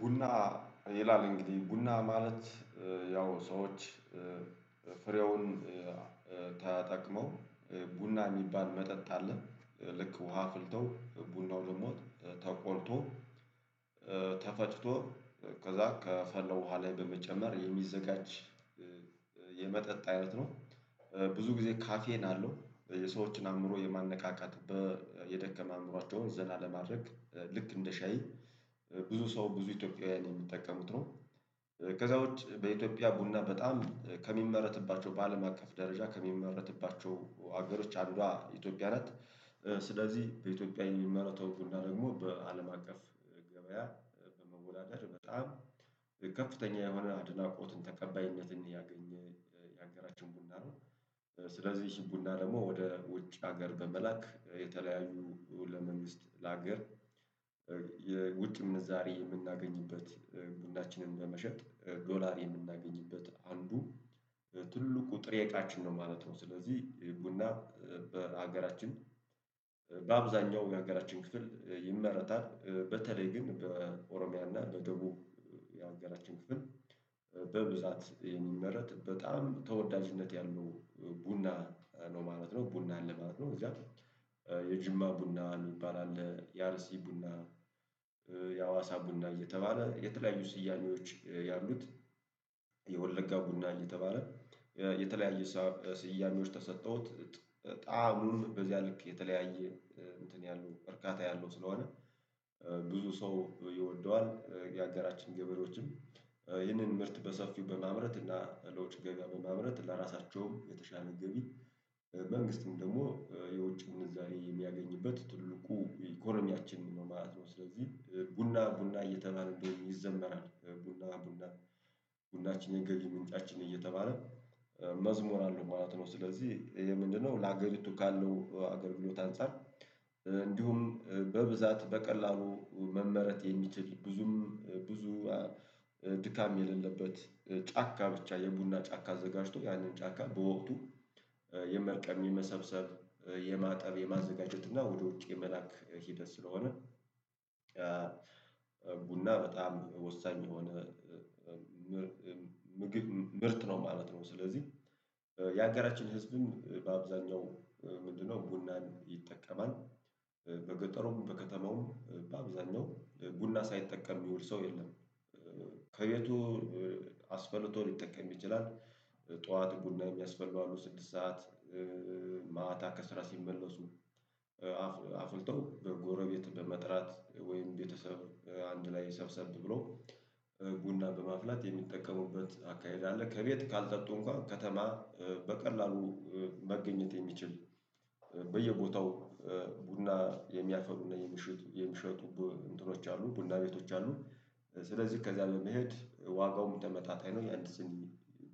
ቡና ይላል እንግዲህ ቡና ማለት ያው ሰዎች ፍሬውን ተጠቅመው ቡና የሚባል መጠጥ አለ ልክ ውሃ ፍልተው ቡናው ደግሞ ተቆልቶ ተፈጭቶ ከዛ ከፈለው ውሃ ላይ በመጨመር የሚዘጋጅ የመጠጥ አይነት ነው። ብዙ ጊዜ ካፌን አለው የሰዎችን አእምሮ የማነቃቃት የደከመ አእምሯቸውን ዘና ለማድረግ ልክ እንደ ሻይ ብዙ ሰው ብዙ ኢትዮጵያውያን የሚጠቀምት ነው። ከዛ ውጭ በኢትዮጵያ ቡና በጣም ከሚመረትባቸው በአለም አካፍ ደረጃ ከሚመረትባቸው ሀገሮች አገሮች ኢትዮጵያ ናት። ስለዚህ በኢትዮጵያ የሚመረተው ቡና ደግሞ በአለም አቀፍ ገበያ በመወዳደር በጣም ከፍተኛ የሆነ አድናቆትን ተቀባይነትን ያገኘ የሀገራችን ቡና ነው። ስለዚህ ቡና ደግሞ ወደ ውጭ ሀገር በመላክ የተለያዩ ለመንግስት ለሀገር የውጭ እንደዛሬ የምናገኝበት ጉዳችንን በመሸጥ ዶላር የምናገኝበት አንዱ ትልቁ ጥሬቃችን ነው ማለት ነው። ስለዚህ ልቡና በሀገራችን በአብዛኛው የሀገራችን ክፍል ይመረታል በተለይ ግን በኦሮሚያ እና በደቡብ የአገራችን ክፍል። የኔን ምህረት በጣም ተወዳጅነት ያሉ ቡና ነው ማለት ነው ቡናን ለማለት ነው። እዛ የጅማ ቡና የሚባል አለ የአርሲ ቡና የአዋሳ ቡና እየተባለ የተለያዩ ስያኔዎች ያሉት። የወለጋ ቡና እየተባለ የተለያዩ ስያሜዎች ተሰጠሁት ጣዕሙን በዚያ ልክ የተለያየ እንትን ያሉ እርካታ ያለው ስለሆነ። ብዙ ሰው ይወደዋል። የአገራችን ገበሬዎችም ይህንን ምርት በሰፊው በማምረት እና ለውጭ ገበያ በማምረት ለራሳቸውም የተሻለ ገቢ። መንግስትም ደግሞ የውጭ ምንዛሬ የሚያገኝበት ትልቁ ኢኮኖሚያችንን ነው ማለት ነው። ስለዚህ ቡና ቡና እየተባለደው እንደሆነ ይዘመራል ቡና ቡና ቡናችን የንገሪ ምንጫችን እየተባለ መዝሙር አለው ማለት ነው። ስለዚህ ይሄ ምንድነው? ለሀገሪቱ ካለው ሀገር ብሎት አንፃር እንዲሁም በብዛት በቀላሉ መመረጥ የሚችል ብዙም ብዙ ድካም የሌለበት ጫካ ብቻ የቡና ጫካ አዘጋጅቶ ያንን ጫካ በወቅቱ የመቀሚም መሰብሰብ የማጠብ የማዘጋጀት እና ወደ ውጭ መላክ ሂደት ስለሆነ። ቡና በጣም ወሳኝ የሆነ ምርት ምርት ነው ማለት ነው። ስለዚህ የሀገራችን ህዝብም በአብዛኛው ምንድነው ቡናን ይጠቀማል። በገጠሩም በከተማውም በአብዛኛው ቡና ሳይጠቀም የሚውል ሰው የለም። ከቤቱ አስበልቶ ሊጠቀም ይችላል። ጠዋት ቡና የሚያስፈልገው አሉ ስድስት ሰዓት ማታ ከስራ ሲመለሱ። አፍልተው በጎረቤት በመጥራት ወይም ቤተሰብ አንድ ላይ ሰብሰብ ብሎ ቡና በማፍላት የሚጠቀሙበት አካሄድ አለ። ከቤት ካልጠጡ እንኳን ከተማ በቀላሉ መገኘት የሚችል በየቦታው ቡና የሚያፈሉ ነው የምሽት የምሽት እንትኖች አሉ ቡና ቤቶች አሉ። ስለዚህ ከዚያ ለመሄድ ዋጋውም ተመጣጣኝ ነው የአንድ ስንት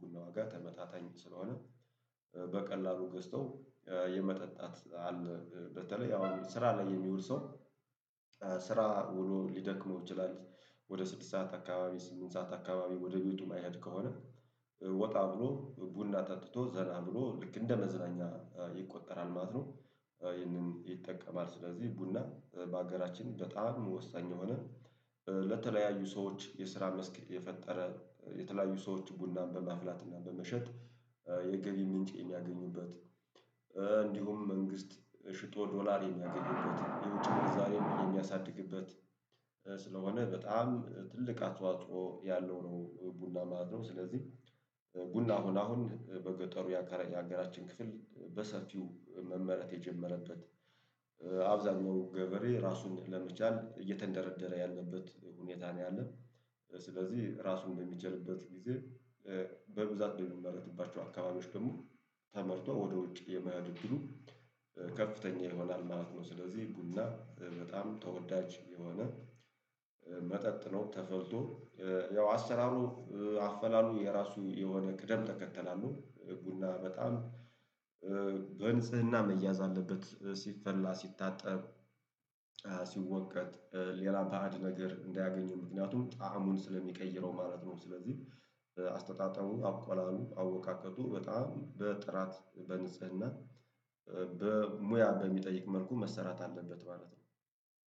ጉንና ዋጋ ተመጣጣኝ ስለሆነ። በቀላሉ ገዝተው የመጠጣት አለ በተለይ አሁን ስራ ላይ የሚውል ሰው ስራ ውሎ ሊደክመው ይችላል። ወደ ስድስት ሰዓት አካባቢ ስምንት ሰዓት አካባቢ ወደ ቤቱ የማይሄድ ከሆነ ወጣ ብሎ ቡና ታጥቶ ዘላ ብሎ ልክ እንደ መዝናኛ ይቆጠራል ማለት ነው። ይህንን ይጠቀማል ስለዚህ ቡና በሀገራችን በጣም ወሳኝ የሆነ ለተለያዩ ሰዎች የስራ መስክ የፈጠረ የተለያዩ ሰዎች ቡናን በማፍላትና በመሸጥ የገቢ ምንጭ የሚያገኙበት። እንዲሁም መንግስት ሽጦ ዶላር የሚያገኝበት የውጭ ምንዛሬውን የሚያሳድግበት ስለሆነ በጣም ትልቅ አጥዋጥሮ ያለው ነው ቡና ማለት ነው። ስለዚህ ቡና ሆና አሁን በገጠሩ ያከረኝ ሀገራችን ክፍል በሰፊው መመረጥ የጀመረበት አብዛኛው ገበሬ ራሱን ለመቻል እየተንደረደረ ያለበት ሁኔታ ነው ያለን። ስለዚህ ራሱን በሚችልበት ጊዜ በብዛት ብንመረጥባቸው አካባቢዎች ደግሞ ተመርቶ ወደ ውጭ የመያድ እድሉ ከፍተኛ ይሆናል ማለት ነው። ስለዚህ ቡና በጣም ተወዳጅ የሆነ መጠጥ ነው። ተፈልቶ ያው አሰራሩ አፈላሉ የራሱ የሆነ ቅደም ተከተላሉ ቡና በጣም ግን ስህና መያዝ አለበት ሲፈላ ሲታጠብ ሌላ ፈአድ ነገር እንዳያገኙ ምክንያቱም ጣዕሙን ስለሚቀይረው ማለት ነው። ስለዚህ አስተጣጠቡ አቋላሉ አወቃቀቱ በጣም በጥራት በንጽህና በሙያ በሚጠይቅ መልኩ መሰራት አለበት ማለት ነው።